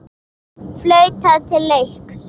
Flautað til leiks.